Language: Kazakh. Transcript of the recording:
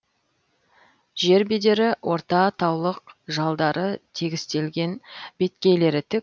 жер бедері орта таулық жалдары тегістелген беткейлері тік